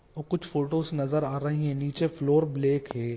और कुछ फोटोज नज़र आ रही है निचे फ्लौर ब्लैक है।